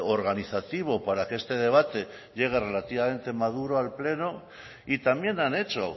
organizativo para que este debate llegue relativamente maduro al pleno y también han hecho